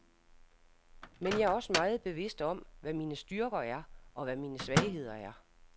Men jeg er også meget bevidst om, hvad mine styrker er, og hvad mine svagheder er.